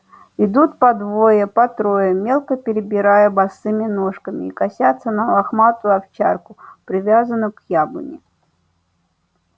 идут по двое по трое мелко перебирая босыми ножками и косятся на лохматую овчарку привязанную к яблоне